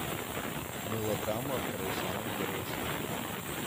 мылодрама второй сезон первая серия